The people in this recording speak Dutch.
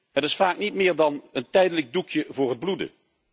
Het is vaak niet meer dan een tijdelijk doekje voor het bloeden.